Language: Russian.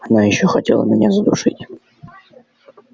она ещё хотела меня задушить